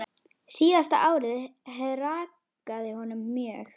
Síðasta árið hrakaði honum mjög.